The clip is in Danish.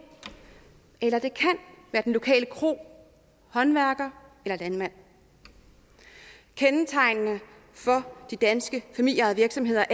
eller det kan være den lokale kro håndværker eller landmand kendetegnende for de danske familieejede virksomheder